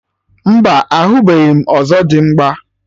Mba, ahụbeghị m ọzọdimgba